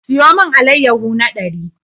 Siyo mun allayahu na ɗari!